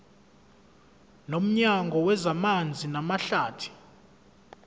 nomnyango wezamanzi namahlathi